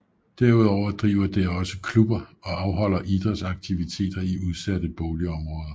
Derudover driver det også klubber og afholder idrætsaktiviteter i udsatte bolig områder